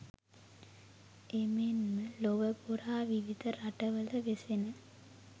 එමෙන්ම ලොවපුරා විවිධ රටවල වෙසෙන